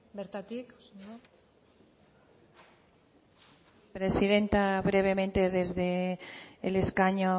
bertatik presidenta brevemente desde el escaño